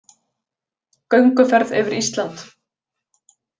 Gönguferð yfir Ísland